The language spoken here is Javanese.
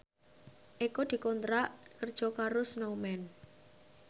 Eko dikontrak kerja karo Snowman